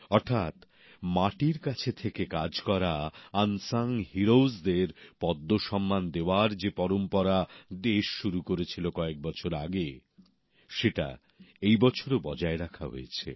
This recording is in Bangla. অর্থাৎ মাটির কাছে থেকে কাজ করা নীরবে লোকচক্ষুর আড়ালে থেকে যারা কাজ করেন তাঁদের পদ্ম সম্মান দেওয়ার যে পরম্পরা দেশ শুরু করেছিল কয়েক বছর আগে সেটা এই বছরও বজায় রাখা হয়েছে